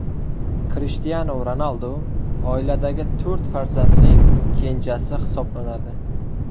Krishtianu Ronaldu oiladagi to‘rt farzandning kenjasi hisoblanadi.